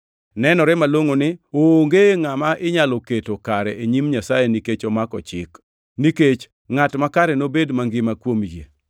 Nenore malongʼo ni onge ngʼama inyalo keto kare e nyim Nyasaye nikech omako Chik, nikech, “Ngʼat makare nobed mangima kuom yie.” + 3:11 \+xt Hab 2:4\+xt*